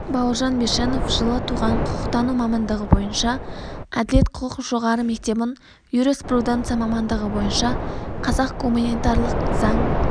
бауыржан бишенов жылы туған құқықтану мамандығы бойынша әділет құқық жоғары мектебін юриспруденция мамандығы бойынша қазақ гуманитарлық-заң